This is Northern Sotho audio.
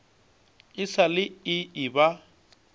e sa le e eba